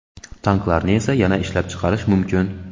Tanklarni esa yana ishlab chiqarish mumkin.